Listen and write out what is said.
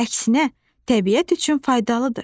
Əksinə, təbiət üçün faydalıdır.